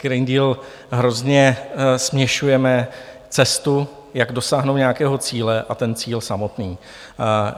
Green Deal - hrozně směšujeme cestu, jak dosáhnout nějakého cíle, a ten cíl samotný.